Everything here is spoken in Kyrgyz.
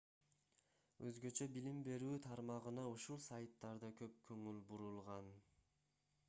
өзгөчө билим берүү тармагына ушул сайттарда көп көңүл бурулган